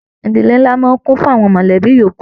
Ìdílé nlá máa ń kún fún àwọn mọlẹbi yòókù.